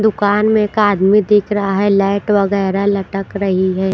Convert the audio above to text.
दुकान में एक आदमी दिख रहा है लाइट वगैरह लटक रही है।